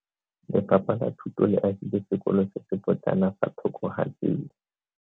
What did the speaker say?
Lefapha la Thuto le agile sekolo se se potlana fa thoko ga tsela.